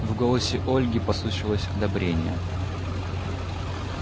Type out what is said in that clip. в голосе ольги послышалось одобрение